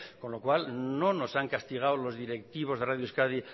con lo cual no nos han castigado los directivos de radio euskadi